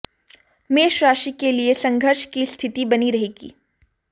मेष राशि के लिए संघर्ष की स्थिति बनी रहेगी